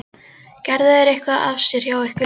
Gerðu þeir eitthvað af sér hjá ykkur líka?